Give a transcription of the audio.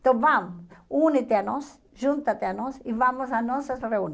Então vamos, une-te a nós, junte-te a nós e vamos a nossas